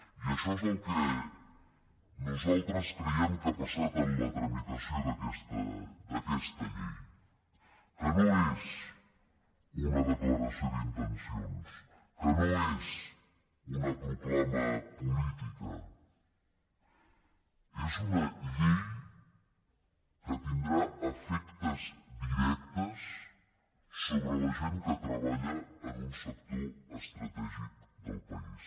i això és el que nosaltres creiem que ha passat en la tramitació d’aquesta llei que no és una declaració d’intencions que no és una proclama política és una llei que tindrà efectes directes sobre la gent que treballa en un sector estratègic del país